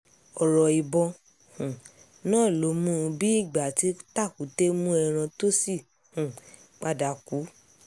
ọ̀rọ̀ ìbọn um náà ló mú un bíi ìgbà tí tàkúté mú ẹran tó sì um padà kú